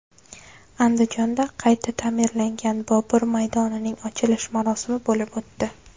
Andijonda qayta ta’mirlangan Bobur maydonining ochilish marosimi bo‘lib o‘tdi.